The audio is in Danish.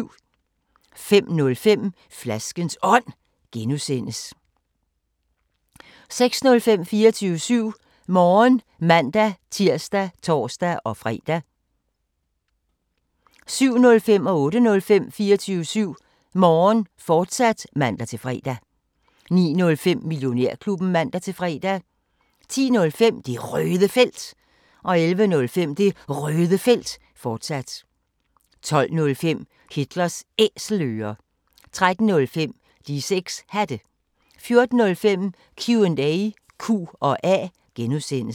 05:05: Flaskens Ånd (G) 06:05: 24syv Morgen (man-tir og tor-fre) 07:05: 24syv Morgen, fortsat (man-fre) 08:05: 24syv Morgen, fortsat (man-fre) 09:05: Millionærklubben (man-fre) 10:05: Det Røde Felt 11:05: Det Røde Felt, fortsat 12:05: Hitlers Æselører 13:05: De 6 Hatte 14:05: Q&A (G)